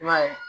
I m'a ye